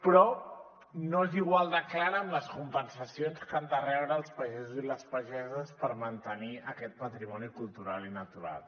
però no és igual de clara amb les compensacions que han de rebre els pagesos i les pageses per mantenir aquest patrimoni cultural i natural